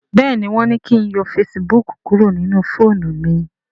béèni wón ní kín yọ Facebook kúrò nínú fóònù mí.